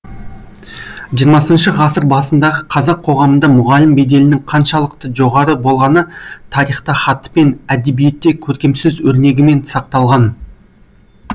жиырмасыншы ғасыр басындағы қазақ қоғамында мұғалім беделінің қаншалықты жоғары болғаны тарихта хатпен әдебиетте көркемсөз өрнегімен сақталған